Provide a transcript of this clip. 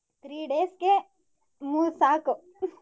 Three days ಗೆ ಮೂರ್ ಸಾಕು.